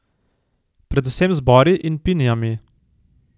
Predvsem z bori in pinijami.